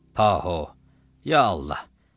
Paho, ya Allah!